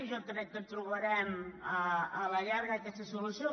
i jo crec que trobarem a la llar·ga aquesta solució